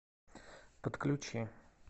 подключи